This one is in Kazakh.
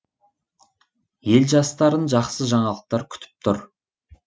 ел жастарын жақсы жаңалықтар күтіп тұр